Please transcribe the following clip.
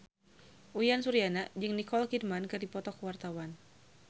Uyan Suryana jeung Nicole Kidman keur dipoto ku wartawan